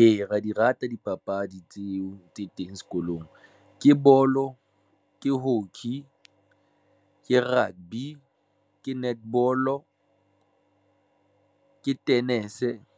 Ee, ra di rata dipapadi tseo tse teng sekolong ke bolo, ke hockey, ke rugby, ke netball, o ke tennis